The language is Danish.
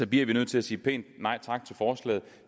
bliver nødt til at sige pænt nej tak til forslaget